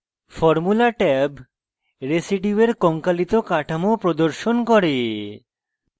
formula tab রেসিডিউয়ের কঙ্কালিত কাঠামো প্রদর্শন করে